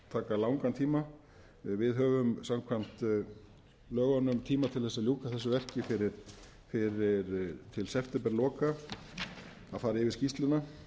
langan tíma við höfum samkvæmt lögunum tíma til þess að ljúka þessu verki fyrir septemberlok að fara yfir skýrsluna